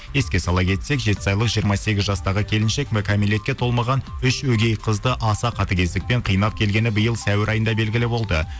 еске сала кетсек жетісайлық жиырма сегіз жастағы келіншек кәмелетке толмаған үш өгей қызды аса қатігездікпен қинап келгені биыл сәуір айында белгілі болды